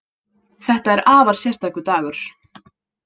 Þetta er afar sérstakur dagur